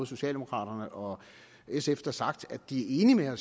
socialdemokraterne og sf da har sagt at de er